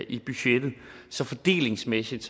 i budgettet så fordelingsmæssigt